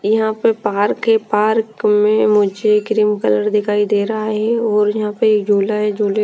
यहाँ पे पार्क है पार्क में मुझे क्रीम कलर दिखाई देरा है और यहाँ पर झूला है झूले--